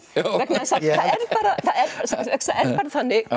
vegna þess að það er þannig